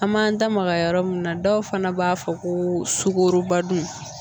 An m'an da maga yɔrɔ min na dɔw fana b'a fɔ ko sukorobadon